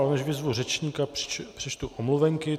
Ale než vyzvu řečníka, přečtu omluvenky.